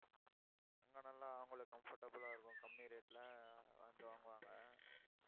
அங்க நல்லா, அவங்களுக்கு comfortable ஆ இருக்கும் கம்மி rate ல வந்து வாங்குவாங்க